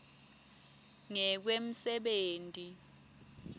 ngekwemsebenti